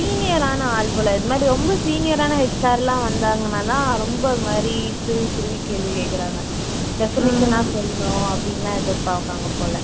senior ஆன ஆள் போல இந்த மாதிரி ரொம்ப senior ஆன HR லாம் வந்தாங்கன்னா தான் ரொம்ப இது மாதிரி துருவி துருவி கேள்வி கேக்குறாங்க definition ஆ சொல்லனும் அப்படின்னுலாம் எதிர்பாப்பாங்க போல